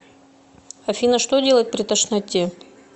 афина что делать при тошноте